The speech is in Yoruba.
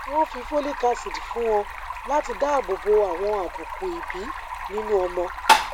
wọn fi folic acid fún ọ láti dáàbò bo àwọn àbùkù ìbí nínú ọmọ